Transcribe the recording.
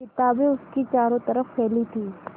किताबें उसके चारों तरफ़ फैली थीं